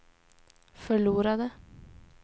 förlorade